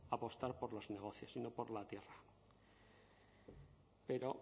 apostar por los negocios y no por la tierra pero